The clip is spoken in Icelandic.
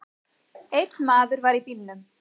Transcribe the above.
Einn maður var í bílnum.